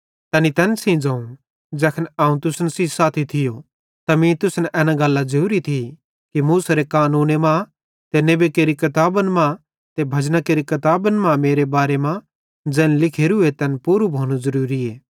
तैनी तैन सेइं ज़ोवं ज़ैखन अवं तुसन सेइं साथी थियो त मीं तुसन एना गल्लां ज़ोरी थी कि मूसेरे कानूने मां ते नेबी केरि किताबन मां ते भजना केरि किताबी मां मेरे बारे मां ज़ैन किछ लिखोरूए तैन पूरू भोनू ज़रूरीए